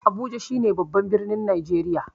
Abuja shine babban birnin Najeriya.